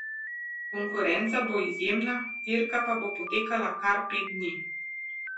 Konkurenca bo izjemna, dirka pa bo potekala kar pet dni.